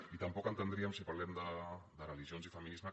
i tampoc entendríem si parlem de religions i feminisme